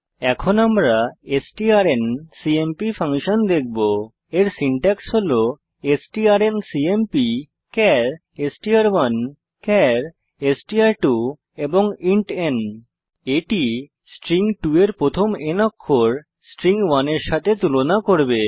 এখন আমরা strncmp function দেখবো এর সিনট্যাক্স হল strncmp char str1 char str2 int n এটি স্ট্রিং 2 এর প্রথম n অক্ষর স্ট্রিং 1 এর সাথে তুলনা করবে